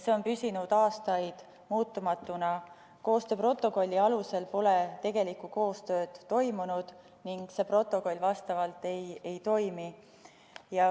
See on püsinud aastaid muutumatuna: koostööprotokolli alusel pole tegelikku koostööd toimunud ning see protokoll vastavalt ei toimi.